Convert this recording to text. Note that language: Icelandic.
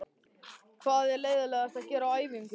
Hvað er leiðinlegast að gera á æfingum?